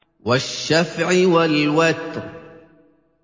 وَالشَّفْعِ وَالْوَتْرِ